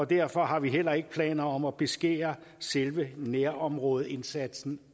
derfor har vi heller ikke planer om at beskære selve nærområdeindsatsen